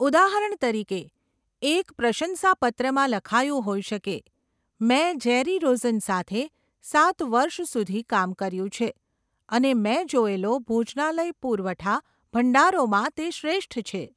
ઉદાહરણ તરીકે, એક પ્રશંસાપત્રમાં લખાયું હોઈ શકે, 'મેં જેરી રોઝન સાથે સાત વર્ષ સુધી કામ કર્યું છે અને મેં જોયેલો ભોજનાલય પુરવઠા ભંડારોમાં તે શ્રેષ્ઠ છે!